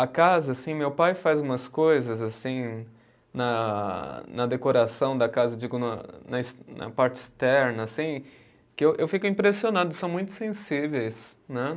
A casa, assim, meu pai faz umas coisas, assim, na na decoração da casa, digo, na na es, na parte externa, assim, que eu fico impressionado, são muito sensíveis, né?